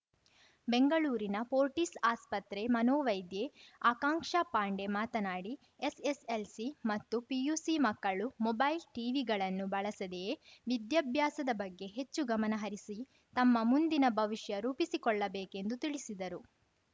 ಬೆಂಗಳೂರಿನ ಫೋರ್ಟಿಸ್‌ ಆಸ್ಪತ್ರೆ ಮನೋವೈದ್ಯೆ ಆಕಾಂಕ್ಷ ಪಾಂಡೆ ಮಾತನಾಡಿ ಎಸ್‌ಎಸ್‌ಎಲ್‌ಸಿ ಮತ್ತು ಪಿಯುಸಿ ಮಕ್ಕಳು ಮೋಬೈಲ್‌ ಟಿವಿಗಳನ್ನು ಬಳಸದೇಯೇ ವಿದ್ಯಾಭ್ಯಾಸದ ಬಗ್ಗೆ ಹೆಚ್ಚು ಗಮನಹರಿಸಿ ತಮ್ಮ ಮುಂದಿನ ಭವಿಷ್ಯ ರೂಪಿಸಿಕೊಳ್ಳಬೇಕೆಂದು ತಿಳಿಸಿದರು